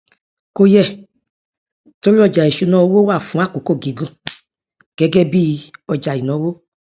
kò yẹ torí ọjà ìṣúnná owó wà fún àkókò gígùn gẹgẹ bí ọjà ìnáwó